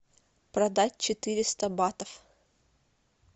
продать четыреста батов